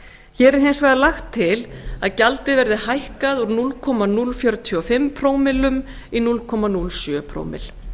hér er hins vegar lagt til að gjaldið verði hækkað úr núll komma núll fjörutíu og fimm prómillum í núll komma núll sjö prómill